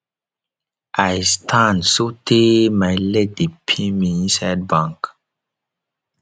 i stand so tey my leg dey pain me inside bank